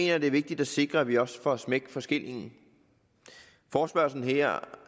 jeg det er vigtigt at sikre at vi også får smæk for skillingen forespørgslen her